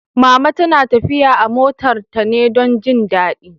Mama na tafiya a motar ta ne don jin daɗi